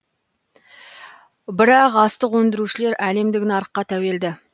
бірақ астық өндірушілер әлемдік нарыққа тәуелді